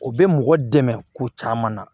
O bɛ mɔgɔ dɛmɛ ko caman na